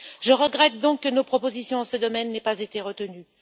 Je regrette donc que nos propositions dans ce domaine n'aient pas été retenues.